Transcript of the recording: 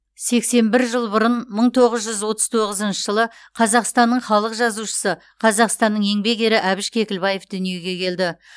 сексен бір жыл бұрын мың тоғыз жүз отыз тоғызыншы жылы қазақстанның халық жазушысы қазақстанның еңбек ері әбіш кекілбаев дүниеге келді